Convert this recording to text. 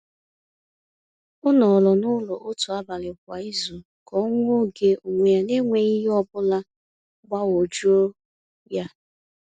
O nọrọ n’ụlọ otu abalị kwa izu ka o nwee oge onwe ya n’enweghị ihe ọ bụla gbagwojuo ya.